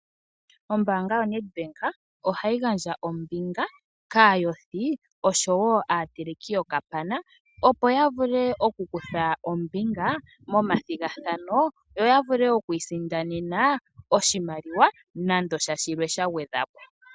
Ombaanga yoNedBank ohayi gandja ombinga kaayothi osho woo aateleki yokapana, opo ya vule okukutha ombinga momathigathano yo ya vule oku isindanena oshimaliwa nande sha shilwe sha gwedhwa po.